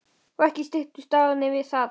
Og ekki styttust dagarnir við það.